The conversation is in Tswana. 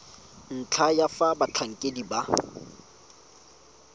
ntlha ya fa batlhankedi ba